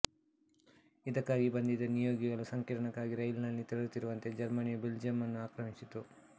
ಇದಕ್ಕಾಗಿ ಬಂದಿದ್ದ ನಿಯೋಗಿಗಳು ಸಂಕಿರಣಕ್ಕಾಗಿ ರೈಲಿನಲ್ಲಿ ತೆರಳುತ್ತಿರುವಂತೆ ಜರ್ಮನಿಯು ಬೆಲ್ಜಿಯಂ ಅನ್ನು ಆಕ್ರಮಿಸಿತು